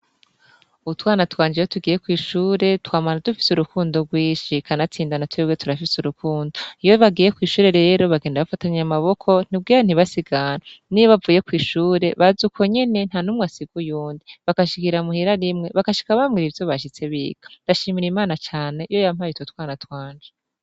Utwana twanje iyo tugiye kw'ishure twamana dufise urukundo rwinshi kanatsinda na twebwe turafise urukundo, iyo bagiye kw'ishure rero bagenda bafatanye amaboko kugira ntibasigane, n'iyo bavuye kw'ishure baza uko nyene nta n'umwe asiga uyundi bagashikira muhira rimwe bagashika bambwira ivyo bashitse biga, ndashimira Imana cane yo yampaye utwo twana twanje.